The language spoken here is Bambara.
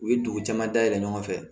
U ye dugu caman dayɛlɛ ɲɔgɔn fɛ